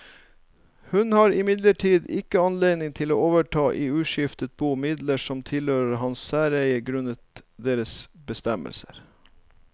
Hun har imidlertid ikke anledning til å overta i uskiftet bo midler som tilhørte hans særeie grunnet deres bestemmelser.